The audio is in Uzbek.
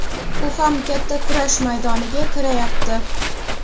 U ham katta kurash maydoniga kirayapti.